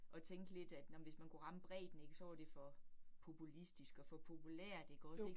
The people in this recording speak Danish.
At tænke lidt, at nåh men hvis man kunne ramme bredden ik, så var det for populistisk og for populært ikke også ik